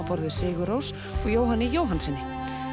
borð við sigur Rós og Jóhanni Jóhannssyni